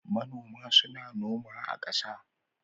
Manoma suna noma a ƙasa.